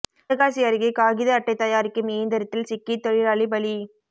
சிவகாசி அருகே காகித அட்டை தயாரிக்கும் இயந்திரத்தில் சிக்கி தொழிலாளி பலி